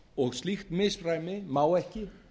og slíkt misræmi má ekki